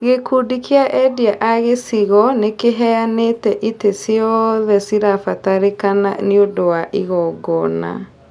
Gĩkundi kĩa endia a gĩcigo nĩkĩheanĩte itĩ ciothe cirabatarĩkana nĩũndũ wa igongona